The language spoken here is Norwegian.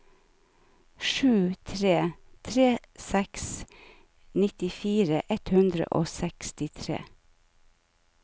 sju tre tre seks nittifire ett hundre og sekstitre